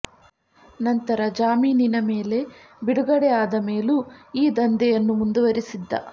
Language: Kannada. ನಂತರ ಜಾಮೀನಿನ ಮೇಲೆ ಬಿಡುಗಡೆ ಆದ ಮೇಲೂ ಈ ದಂಧೆಯನ್ನು ಮುಂದುವರಿಸಿದ್ದ